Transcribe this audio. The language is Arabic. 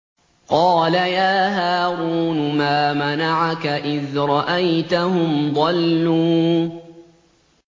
قَالَ يَا هَارُونُ مَا مَنَعَكَ إِذْ رَأَيْتَهُمْ ضَلُّوا